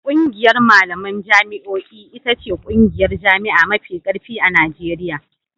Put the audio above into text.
ƙungiyar malaman jami'o'i ita ce ƙungiyar jami'a mafi ƙarfi a Najeriya.